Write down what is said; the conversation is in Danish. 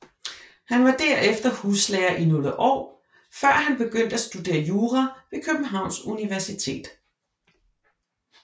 Han var derefter huslærer i nogle år før han begyndte at studere jura ved Københavns Universitet